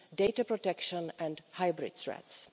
data protection and hybrid threats.